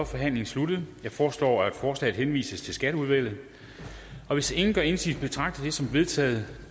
forhandlingen sluttet jeg foreslår at forslaget henvises til skatteudvalget hvis ingen gør indsigelse betragter jeg det som vedtaget